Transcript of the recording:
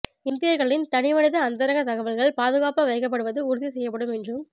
இந்தியா்களின் தனிமனித அந்தரங்க தகவல்கள் பாதுகாப்பாக வைக்கப்படுவது உறுதி செய்யப்படும் என்றும்